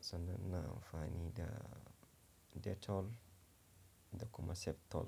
sannan ina amfani da Dettol da kuma Septol.